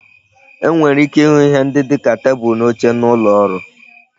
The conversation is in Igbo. E nwere ike ịhụ ihe ndị dịka tebulu na oche n'ụlọ ọrụ